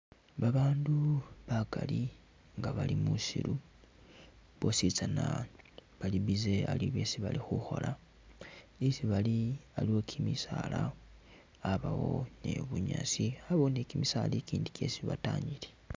Babaandu bakali nga bali musiiru bositsana bali busy aliwo byesi bali khukhola, isi bali aliwo kimisaala, abawo ni bunyaasi, yabawo ni kimisaala ikindi kyesi bataanyile.